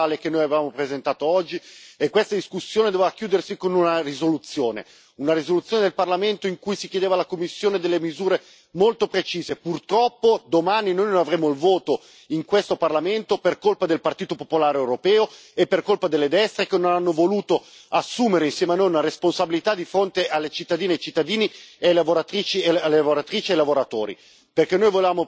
Però bisogna anche essere molto chiari, perché questa interrogazione orale che noi avevamo presentato oggi e questa discussione doveva chiudersi con una risoluzione, una risoluzione del Parlamento in cui si chiedevano alla Commissione delle misure molto precise. Purtroppo domani noi non avremo il voto in questo Parlamento per colpa del Partito Popolare Europeo e per colpa delle destre, che non hanno voluto assumere, insieme a noi, una responsabilità di fronte alle cittadine e ai cittadini,